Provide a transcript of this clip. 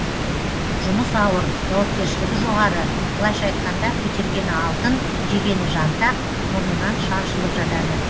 жұмыс ауыр жауапкершілігі жоғары былайша айтқанда көтергені алтын жегені жантақ мұрнынан шаншылып жатады